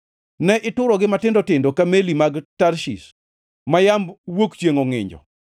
Ne iturogi matindo tindo ka meli mag Tarshish ma yamb wuok chiengʼ ongʼinjo.